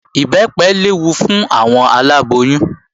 Ìbẹ́pẹ léwu fún àwọn aláboyún